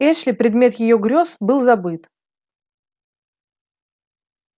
эшли предмет её грёз был забыт